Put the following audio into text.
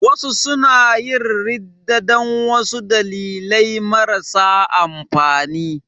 Wasu suna yin ridda dan wasu dalilai marasa amfani